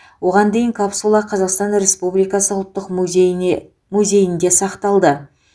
оған дейін капсула қазақстан республикасы ұлттық музейіне музейінде сақталды